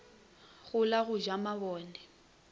go la go ja mabone